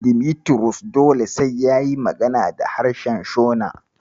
Dimitrus dole sai yayi magana da harshen Shona.